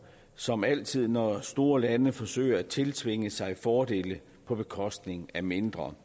som altid når store lande forsøger at tiltvinge sig fordele på bekostning af mindre